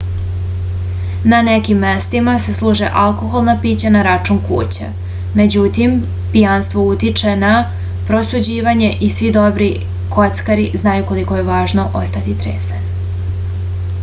na nekim mestima se služe alkoholna pića na račun kuće međutim pijanstvo utiče na prosuđivanje i svi dobri kockari znaju koliko je važno ostati trezan